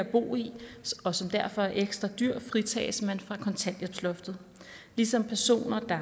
bolig som derfor er ekstra dyr fritages man fra kontanthjælpsloftet ligesom personer der